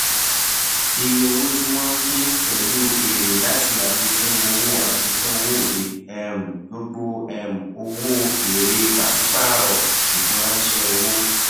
iye owó tí wọn pín pẹlú èrè láti àfikún owó àfikún owó òde um gbogbo um owó èrè pàṣípàrọ ìfiránṣẹ owó